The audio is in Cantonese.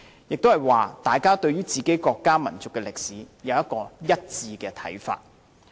即是說，大家對自己國家民族的歷史能有一致看法。